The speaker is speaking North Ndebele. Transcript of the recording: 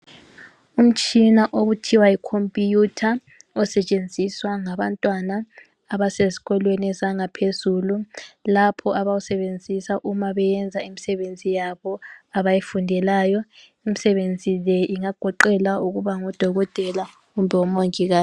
Umtshina okuthiwa yicomputer osetshenziswa ngabantwana abasezikolweni ezangaphezulu lapho abawusebenzisa uma beyenza imisebenzi yabo abayifundelayo. Imisebenzi le ingagoqela ukuba ngodokotela kumbe omongika.